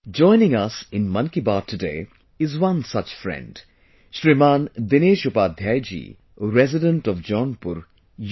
Joining us in Mann Ki Baat today is one such friend Shriman Dinesh Upadhyay ji, resident of Jaunpur, U